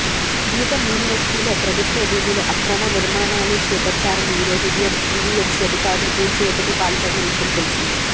గీతం యూనివర్సిటీలో ప్రభుత్వ భూమిలో అక్రమ నిర్మాణాలు చేపట్టారని ఈరోజు ఉదయం జీవీఎంసీ అధికారులు కూల్చివేతకు పాల్పడిన విషయం తెలిసిందే